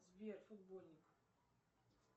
сбер футбольник